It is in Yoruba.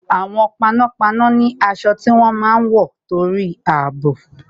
Àwọn panápaná ni aṣọ tí wọ́n máa ń wọ torí àbò